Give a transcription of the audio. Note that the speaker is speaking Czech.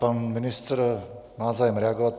Pan ministr má zájem reagovat.